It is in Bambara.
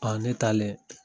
ne taalen